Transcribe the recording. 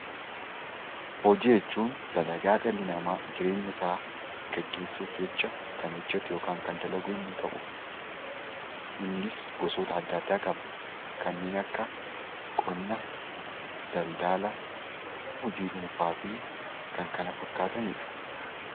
Hojii jechuun dalagaa dhalli nama jireenya isaa gaggeessuuf jecha kan hojjetu yookaan ammoo kan dalagu yemmuu ta'u, innis gosoota adda addaa qaba. Kanneen akka qonna, daldala, hojii dhuunfaafi kan kana fakkaatanidha.